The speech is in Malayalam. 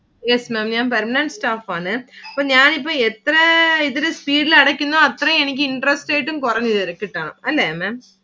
Yes Maám ഞാൻ permanent staff ആണ്. ഇപ്പൊ ഞാൻ ഇപ്പം എത്ര speed ഇൽ അടയ്ക്കുന്നു അത്രേം എനിക്ക് interest rate ഉം കുറഞ്ഞു കിട്ടണം അല്ലെ Maám.